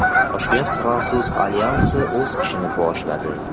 Toshkent fransuz alyansi o‘z ishini boshladi.